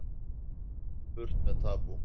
Burt með tabú